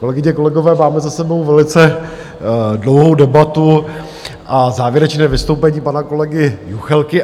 Kolegyně, kolegové, máme za sebou velice dlouhou debatu a závěrečné vystoupení pana kolegy Juchelky.